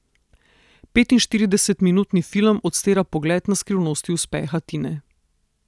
Petinštiridesetminutni film odstira pogled na skrivnosti uspeha Tine.